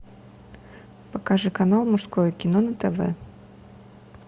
покажи канал мужское кино на тв